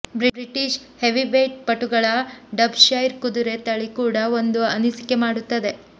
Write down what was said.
British heavyweight ಪಟುಗಳ ಡಬ್ ಶೈರ್ ಕುದುರೆ ತಳಿ ಕೂಡ ಒಂದು ಅನಿಸಿಕೆ ಮಾಡುತ್ತದೆ